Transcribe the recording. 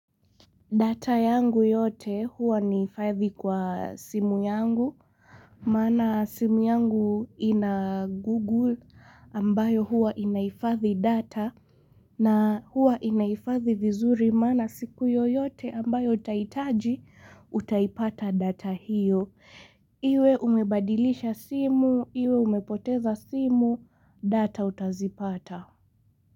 Data yangu yote huwa nahifadhi kwa simu yangu, maana simu yangu ina google ambayo huwa inahifadhi data na huwa inahifadhi vizuri maana siku yoyote ambayo utahitaji, utaipata data hiyo. Iwe umebadilisha simu, iwe umepoteza simu, data utazipata.